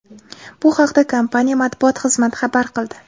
Bu haqda kompaniya matbuot xizmati xabar qildi.